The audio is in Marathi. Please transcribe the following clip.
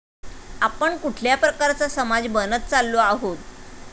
आपण कुठल्या प्रकारचा समाज बनत चाललो आहोत.